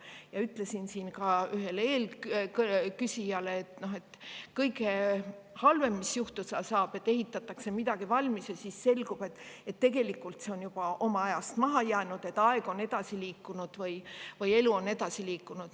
Ja ütlesin ka ühele küsijale, et kõige halvem, mis juhtuda saab, on see, et ehitatakse midagi valmis ja siis selgub, et tegelikult see on juba ajast maha jäänud, aeg või elu on edasi liikunud.